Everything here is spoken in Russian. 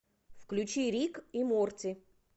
включи рик и морти